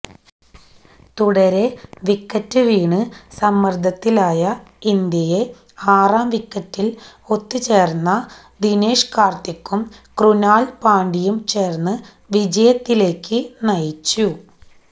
തുടരെ വിക്കറ്റ് വീണ് സമ്മര്ദ്ദത്തിലായ ഇന്ത്യയെ ആറാം വിക്കറ്റില് ഒത്തുചേര്ന്ന ദിനേഷ് കാര്ത്തിക്കും ക്രുനാല് പാണ്ഡ്യയും ചേര്ന്ന് വിജയത്തിലേക്ക് നയിച്ചു